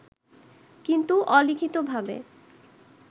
কিন্তু অলিখিতভাবে